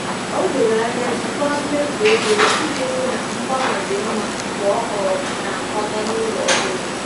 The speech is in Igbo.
O doro anya jikwaa mmefu ego ya iji hụ na mgbanwe dị mma mgbe ọ um na-akwaga n'ụlọ ọhụrụ.